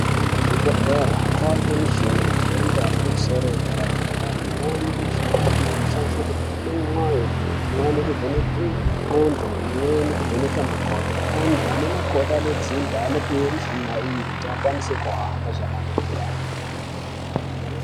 Kuzvibhedhlera kwava nemichina yemhando yepamusoro yepadera dera imweni yemichina iyi inoshandiswa kuvhenaka mwoyo imweni kuvhenaka ndxondo imweni kuvhenaka makodo antu ane makodo anodzimba anopiwa muchina iyi kuti akwanise kuhamba zvakanaka.